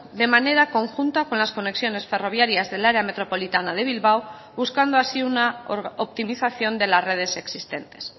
de manera conjunta con las conexiones ferroviarias del área metropolitana de bilbao buscando así una optimización de las redes existentes